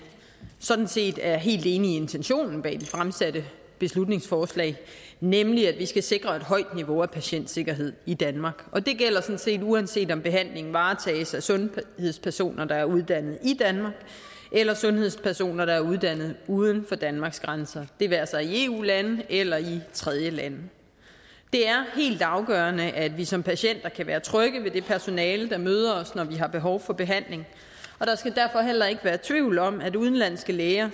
sådan set er helt enig i intentionen bag de fremsatte beslutningsforslag nemlig at vi skal sikre et højt niveau af patientsikkerhed i danmark og det gælder uanset om behandlingen varetages af sundhedspersoner der er uddannet i danmark eller sundhedspersoner der er uddannet uden for danmarks grænser det være sig i eu lande eller i tredjelande det er helt afgørende at vi som patienter kan være trygge ved det personale der møder os når vi har behov for behandling og der skal derfor heller ikke være tvivl om at udenlandske læger